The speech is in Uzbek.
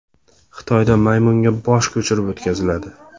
Xitoyda maymunga bosh ko‘chirib o‘tkaziladi.